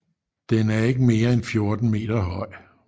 Den er ikke mere end 14 meter høj